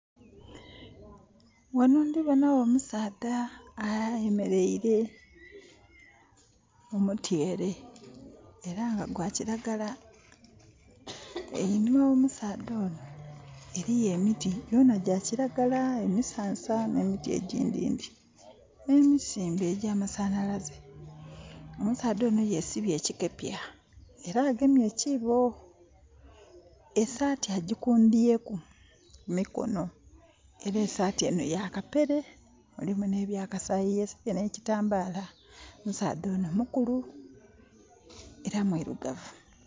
Ghano ndhibona gho omusaadha ayemeleire mu mutyere era nga gwakiragala. Einhuma gho musaadha onho, eriyo emiti gyona gyakiragala, emisansa ne miti eghindhindhi n'emisimbe egya masanhalaze. Omusaadha ono yesibye ekikepya era agemye ekiibo, esaati agikundhyeku ku mikono era esaati eno ya kapere. Mulimu n'ebya kasaayi yesibye n'ekitambala. Omusaadha ono mukulu era mwirugavuu.